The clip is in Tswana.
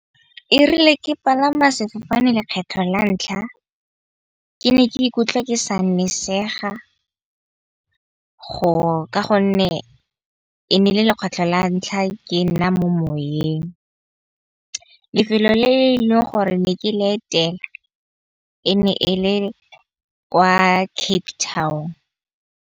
E rile ke palama sefofane lekgetlho la ntlha, ke ne ke ikutlwe ke sa nnisega go ka gonne e ne e le le kgotsa tlhola ntlha ke nna mo moweng. Lefelo le eleng gore ne ke le etela e ne e le kwa Cape Town.